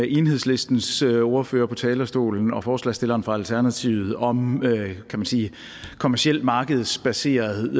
enhedslistens ordfører på talerstolen og så forslagsstilleren for alternativet om kommerciel markedsbaseret